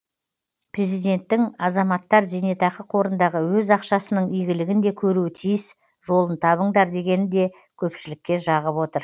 президенттің азаматтар зейнетақы қорындағы өз ақшасының игілігін де көруі тиіс жолын табыңдар дегені де көпшілікке жағып отыр